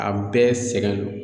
A bɛɛ sɛgɛnnen don